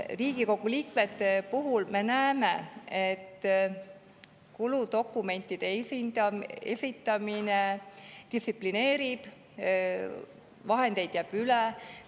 Riigikogu liikmete puhul me näeme, et kuludokumentide esitamine distsiplineerib, vahendeid jääb üle.